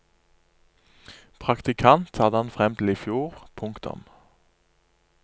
Praktikant hadde han frem til i fjor. punktum